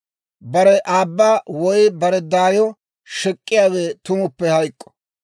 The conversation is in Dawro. «Bare aabba woy bare daayo shek'k'iyaawe tumuppe hayk'k'o.